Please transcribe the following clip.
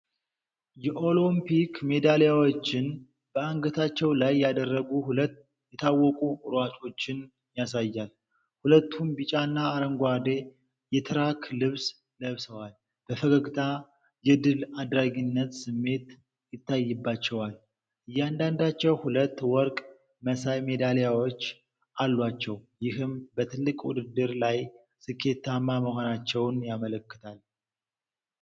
የኦሎምፒክ ሜዳሊያዎችን በአንገታቸው ላይ ያደረጉ ሁለት የታወቁ ሯጮችን ያሳያል። ሁለቱም ቢጫና አረንጓዴ የትራክ ልብስ ለብሰዋል። በፈገግታ የድል አድራጊነት ስሜት ይታይባቸዋል። እያንዳንዳቸው ሁለት ወርቅ መሳይ ሜዳሊያዎች አሏቸው፤ ይህም በትልቅ ውድድር ላይ ስኬታማ መሆናቸውን ያመለክታል።